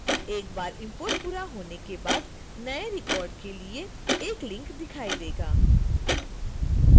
एक बार इंपोर्ट पूरा होने के बाद नए record के लिए एक लिंक दिखाई देगा